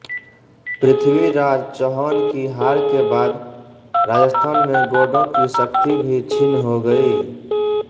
पृथ्वीराज चैहान की हार के बाद राजस्थान में गौडों की शक्ति भी क्षीण हो गयी